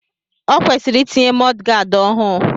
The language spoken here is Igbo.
O kwesịrị itinye mọdgaad ọhụụ.